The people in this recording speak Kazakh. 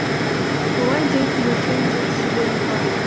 олай дейтініміздің де себебі бар